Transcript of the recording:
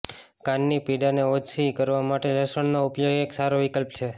કાનની પીડાને ઓછી કરવા માટે લસણનો ઉપયોગ એક સારો વિકલ્પ છે